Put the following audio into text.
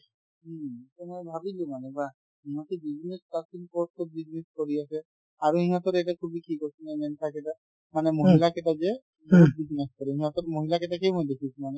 উম, to মই ভাবিলো মানে বাহ্ ইহঁতে business starting কৰোতে business কৰি আছে আৰু ইহঁতৰ এটা khubi কি কোৱাচোন মানে মহিলা কেইটা যে business কৰে সিহঁতৰ মহিলা কেইটাকে মই দেখিছো মানে